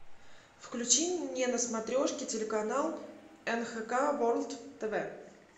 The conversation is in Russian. включи мне на смотрешке телеканал нхк ворлд тв